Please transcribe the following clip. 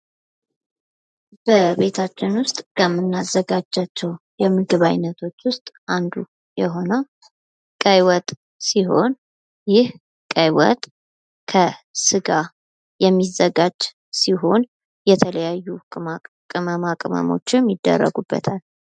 በቤታችንን ዉስጥ ከምናዘጋጃቸው የምግብ አይነቶች ዉስጥ አንዱ የሆነው ቀይ ወጥ ሲሆን ይህ ቀይ ወጥ ከስጋ የሚዘጋጅ ሲሆን የተለያዩ ቅመማ ቅመሞችም ይደረጉበታል።